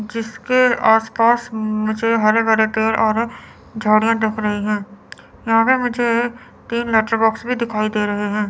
जिसके आस पास मुझे हरे भरे पेड़ और झाड़ियां दिख रही हैं यहां पर मुझे तीन मैच लेटर बॉक्स भी दिखाई दे रहे हैं।